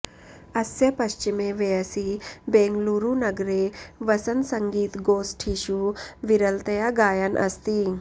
अस्य पश्चिमे वयसि बेङ्गळूरुनगरे वसन् सङ्गीतगोष्ठिषु विरलतया गायन् अस्ति